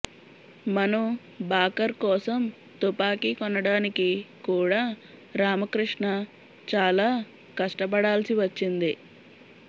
మను భాకర్ కోసం తుపాకీ కొనడానికి కూడా రామక్రిష్ణ చాలా కష్టపడాల్సి వచ్చింది